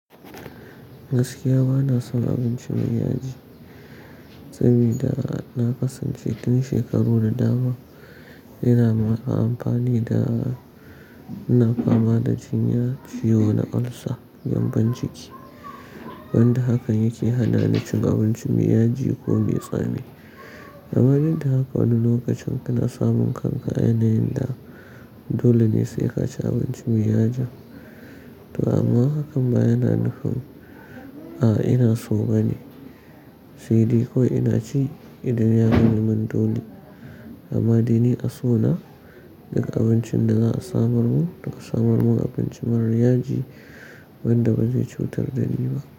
Gaskiya bana son abinci mai yaji. Saboda na kasance tin shekaru da dama ina amfani da-- ina fama da cinya ciyo na ulcer, gyambon ciki. Wanda hakan yake hana ni cin abinci mai yaji ko mai tsami. Amma duk da haka wani lokacin kana samun kanka a yanayin da dole ne sai ka ci abinci mai yaji. To amma hakan ba yana nufin, a ina so bane. N dai kawai ina ci idan ya zame mun dole. Amma dai ni a so na duk abincin da za a samar mu, toh samar mu abinci marar yaji wanda ba zai cutar da ni ba.